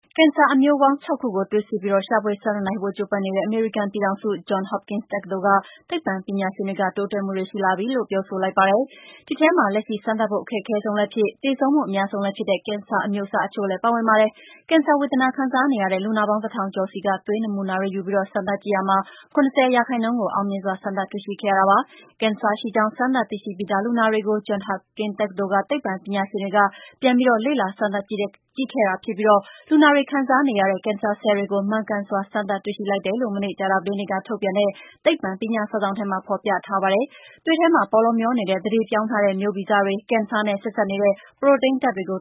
ကင်ဆာအမျိုးပေါင်း ၆ ခုကို သွေးစစ်ပြီး ရှာဖွေစမ်းသပ်နိုင်ဖို့ ကျိုးပမ်းနေတဲ့ အမေရိကန်ပြည်ထောင်စု၊ Johns Hopkins တက္ကသိုလ်က သိပ္ပံပညာရှင်တွေက တိုးတက်မှုတွေရှိလာပြီလို့ ပြောဆိုလိုက်ပါတယ်။ ဒီထဲမှာ လက်ရှိ စမ်းသပ်ဖို့အခက်ခဲဆုံးလည်းဖြစ်၊ သေဆုံးမှုအများဆုံးလည်းဖြစ်တဲ့ ကင်ဆာအမျိုးအစားအချို့လည်း ပါဝင်ပါတယ်။ ကင်ဆာဝေဒနာခံစားနေရတဲ့ လူနာပေါင်း တစ်ထောင်ကျော်ဆီက သွေးနမူနာတွေယူပြီး စမ်းသပ်ကြည့်ရာမှာ ၇၀ % ကိုအောင်မြင်စွာစမ်းသပ်တွေ့ရှိခဲ့ရတာပါ။ ကင်ဆာရှိကြောင်း စမ်းသပ်သိရှိပြီးသားလူနာတွေကို Johns Hopkins တက္ကသိုလ်က သိပ္ပံပညာရှင်တွေကပြန်ပြီး လေ့လာ စမ်းသပ်ကြည့်ခဲ့တာဖြစ်ပြီး လူနာတွေခံစားနေရတဲ့ ကင်ဆာဆဲလ်တွေကို မှန်ကန်စွာ စမ်းသပ်တွေ့ရှိလိုက်တယ်လို့ မနေ့ ကြာသပတေးနေ့က ထုတ်ဝေလိုက်တဲ့ သိပ္ပံပညာစာစောင်ထဲမှာ ဖော်ပြထားပါတယ်။ သွေးထဲမှာ ပေါလောမျောနေတဲ့ သန္ဓေပြောင်းထားတဲ့ မျိုးဗီဇတွေ၊ ကင်ဆာနဲ့ ဆက်စပ်နေတဲ့ ပရိုတိန်းဓာတ်တွေကို